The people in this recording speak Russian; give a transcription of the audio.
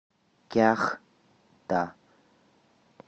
кяхта